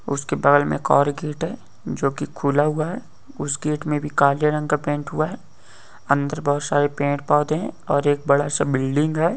उसके बगल में एक और गेट है जो कि खुला हुआ है उस गेट में काले रंग का पेंट हुआ है दर बहुत सारे पेड़-पौधे है और एक बड़ा सा बिल्डिंग है।